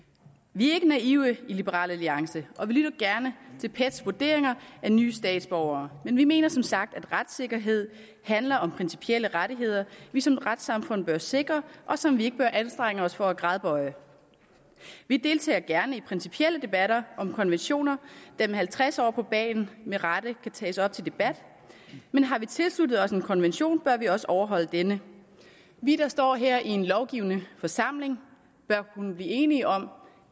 vi er ikke naive i liberal alliance og vi lytter gerne til pets vurderinger af nye statsborgere men vi mener som sagt at retssikkerhed handler om principielle rettigheder vi som retssamfund bør sikre og som vi ikke bør anstrenge os for at gradbøje vi deltager gerne i principielle debatter om konventioner der med halvtreds år på bagen med rette kan tages op til debat men har vi tilsluttet os en konvention bør vi også overholde denne vi der står her i en lovgivende forsamling bør kunne blive enige om